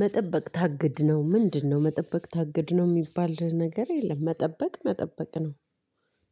መጠበቅ ታግድ ነው ምንድነው? መጠበቅ ታግድ ነው የሚባል ነገር የለም። መጠበቅ መጠበቅ ነው